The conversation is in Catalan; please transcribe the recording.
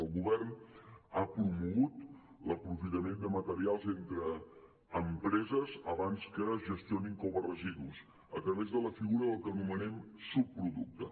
el govern ha promogut l’aprofitament de materials entre empreses abans que es gestionin com a residus a través de la figura del que anomenem subproducte